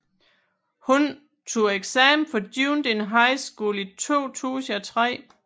Hun tog eksamen fra Dunedin High School i 2003